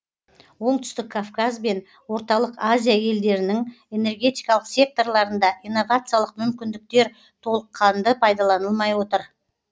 оңтүстік кавказ бен орталық азия елдерінің энергетикалық секторларында инновациялық мүмкіндіктер толыққанды пайдаланылмай отыр